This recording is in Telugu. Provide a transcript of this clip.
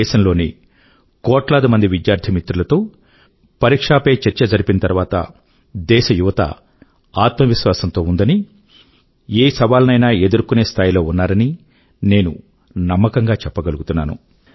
దేశం లోని కోట్ల మంది విద్యార్థి మిత్రుల తో పరీక్షా పే చర్చ జరిపిన తరువాత దేశ యువత ఆత్మవిశ్వాసం తో ఉందని ఏ సవాలునైనా ఎదుర్కొనే స్థాయి లో ఉన్నారని నేను నమ్మకం గా చెప్పగలుగుతున్నాను